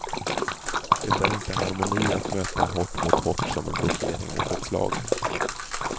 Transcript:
Det är inte harmoni att möta hårt mot hårt som en blockering mot ett slag.